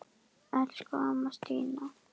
Elsku amma Stína.